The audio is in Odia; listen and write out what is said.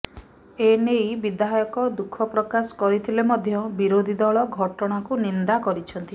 ଏନେଇ ବିଧାୟକ ଦୁଃଖ ପ୍ରକାଶ କରିଥିଲେ ମଧ୍ୟ ବିରୋଧୀ ଦଳ ଘଟଣାକୁ ନିନ୍ଦା କରିଛନ୍ତି